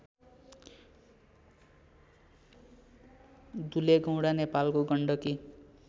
दुलेगौंडा नेपालको गण्डकी